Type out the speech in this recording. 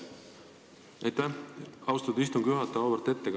Aitäh, austatud istungi juhataja!